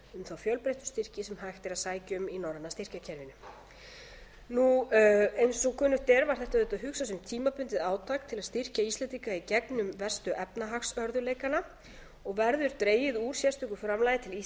þá fjölbreyttu styrki sem hægt er að sækja um í norræna styrkjakerfinu eins og kunnugt er var þetta auðvitað hugsað sem tímabundið átak til að styrkja íslendinga í gegnum verstu efnahagsörðugleikana og verður dregið úr sérstöku framlagi til íslands í norrænu